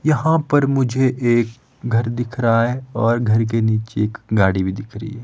यहाँ पर मुझे एक घर दिख रहा है और घर के नीचे एक गाड़ी भी दिख रही है।